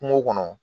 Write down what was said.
Kungo kɔnɔ